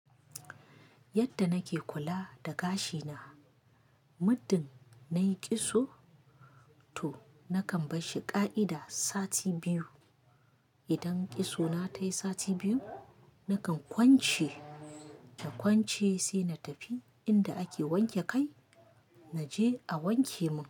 Yadda nake kula da gashi na, muddin nayi kitso to nakan barshi ƙa'ida sati biyu. Idan kitso na tayi sati biyu, nakan kwance, da kwance sai na tafi inda ake wanke kai naje a wanke mun.